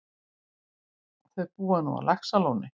Þau búa nú á Laxalóni.